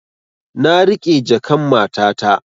Na riƙe jakan matata